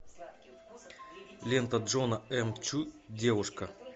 лента джона м чу девушка